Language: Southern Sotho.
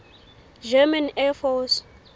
german air force